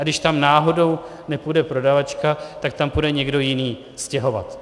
A když tam náhodou nepůjde prodavačka, tak tam půjde někdo jiný stěhovat.